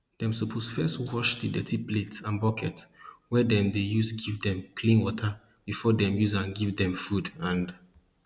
dem suppose first wash the dirty plate and bucket wey dem dey use give them clean water before dem use am give dem food and